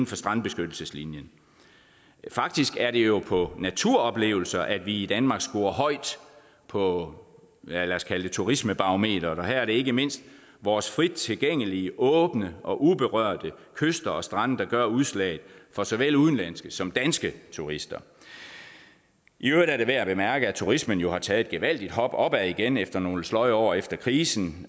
for strandbeskyttelseslinjen faktisk er det jo på naturoplevelser at vi i danmark scorer højt på lad os kalde det turismebarometeret og her er det ikke mindst vores frit tilgængelige åbne og uberørte kyster og strande der gør udslaget for såvel udenlandske som danske turister i øvrigt er det værd at bemærke at turismen jo har taget et gevaldigt hop opad igen efter nogle sløje år efter krisen